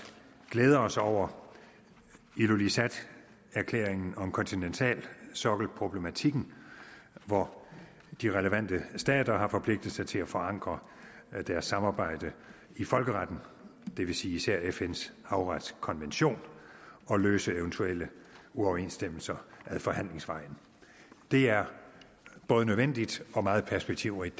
glæde os over ilulissat erklæringen om kontinentalsokkelproblematikken hvor de relevante stater har forpligtet sig til at forankre deres samarbejde i folkeretten det vil sige især fns havretskonvention og løse eventuelle uoverensstemmelser ad forhandlingsvejen det er både nødvendigt og meget perspektivrigt